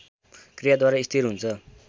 क्रियाद्वारा स्थिर हुन्छ